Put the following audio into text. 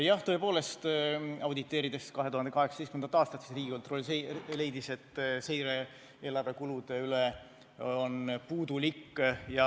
Jah, tõepoolest, auditeerides 2018. aastat, leidis Riigikontroll, et seire eelarve kulude üle on puudulik.